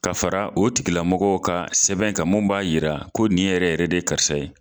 Ka fara o tigilamɔgɔw ka sɛbɛn ka, min b'a jira ko ni yɛrɛ yɛrɛ de ye karisa ye.